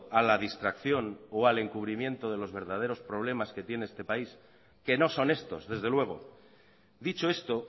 a la distracción o al encubrimiento de los verdaderos problemas que tiene este país que no son estos desde luego dicho esto